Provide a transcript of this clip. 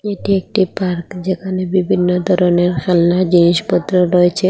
এটি একটি পার্ক যেখানে বিভিন্ন ধরনের খেলনার জিনিসপত্র রয়েছে।